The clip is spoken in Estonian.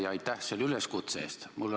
Ja aitäh selle üleskutse eest!